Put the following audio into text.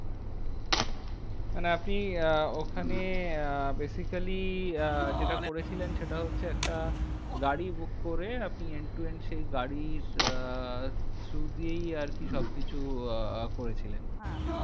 মানে আপনি আহ ওখানে আহ basically আহ যেটা করেছিলেন, সেটা হচ্ছে একটা গাড়ি book করে, আপনি end to end সেই গাড়ির আহ through দিয়েই আরকি সবকিছু আহ করেছিলেন? হ্যাঁ